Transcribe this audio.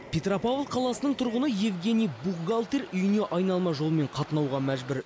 петропавл қаласының тұрғыны евгений бухгалтер үйіне айналма жолмен қатынауға мәжбүр